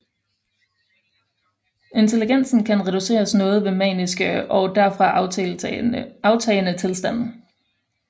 Intelligensen kan reduceres noget ved maniske og derfra aftagende tilstand